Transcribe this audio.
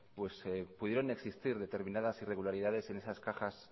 pudieron existir determinadas irregularidades en esas cajas